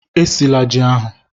Esila ji ahụ!